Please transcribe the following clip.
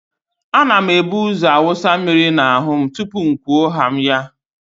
A na m ebuzo wụsa mmiri n'ahụ m tupuu m kwuo haa m ya.